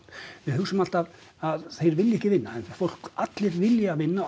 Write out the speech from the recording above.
við hugsum alltaf að þeir vilji ekki vinna en fólk allir vilja vinna og